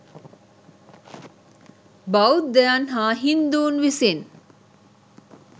බෞද්ධයන් හා හින්දුන් විසින්